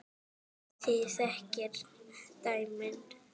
Þið þekkið dæmin.